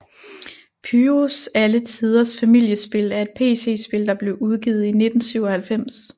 Pyrus alle tiders Familiespil er et PC spil der blev udgivet i 1997